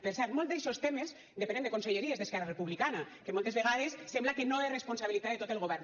per cert molts d’eixos temes depenen de conselleries d’esquerra republicana que moltes vegades sembla que no és responsabilitat de tot el govern